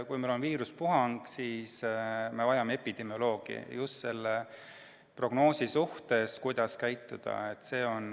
Kui meil on viirusepuhang, siis me vajame epidemioloogi – just selleks, et prognoosida, kuidas käituda.